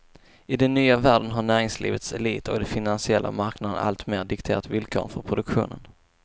I den nya världen har näringslivets elit och de finansiella marknaderna alltmer dikterat villkoren för produktionen.